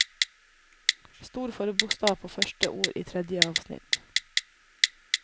Stor forbokstav på første ord i tredje avsnitt